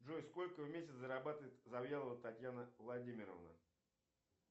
джой сколько в месяц зарабатывает завьялова татьяна владимировна